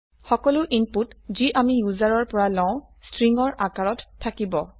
সকলো ইনপুট যি আমি ইউজাৰৰ পৰা লও স্ট্ৰিং ৰ আকাৰত থাকিব